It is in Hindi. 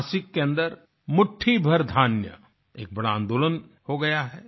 नाशिक के अन्दर मुट्ठी भर धान्य एक बड़ा आन्दोलन हो गया है